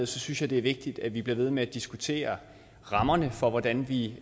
synes jeg det er vigtigt at vi bliver ved med at diskutere rammerne for hvordan vi